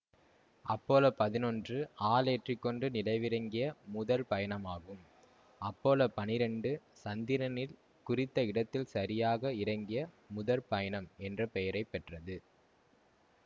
Apollo பதினொன்று ஆளேற்றிக்கொண்டு நிலவிலிறங்கிய முதற் பயணமாகும் அப்பல்லோ பன்னிரெண்டு சந்திரனில் குறித்த இடத்தில் சரியாக இறங்கிய முதற் பயணம் என்ற பெயரை பெற்றது